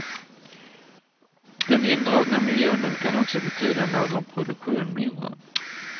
Den indragna miljonen kan också betyda någon produktion mindre.